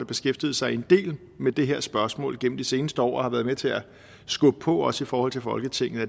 beskæftiget sig en del med det her spørgsmål gennem de seneste år og har været med til at skubbe på også i forhold til folketinget